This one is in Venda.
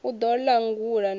u ḓo langula na u